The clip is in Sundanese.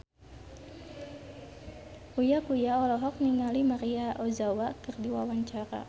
Uya Kuya olohok ningali Maria Ozawa keur diwawancara